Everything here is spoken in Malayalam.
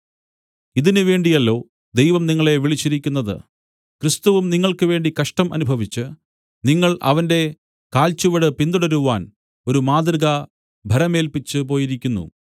ഇതിന് വേണ്ടിയല്ലോ ദൈവം നിങ്ങളെ വിളിച്ചിരിക്കുന്നത് ക്രിസ്തുവും നിങ്ങൾക്ക് വേണ്ടി കഷ്ടം അനുഭവിച്ച് നിങ്ങൾ അവന്റെ കാൽച്ചുവട് പിന്തുടരുവാൻ ഒരു മാതൃക ഭരമേല്പിച്ച് പോയിരിക്കുന്നു